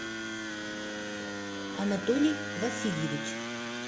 анатолий васильевич